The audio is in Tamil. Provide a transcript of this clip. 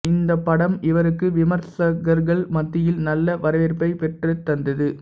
இந்தப் படம் இவருக்கு விமர்சகர்கள் மத்தியில் நல்ல வரவேற்பைப் பெற்றுத் தந்தது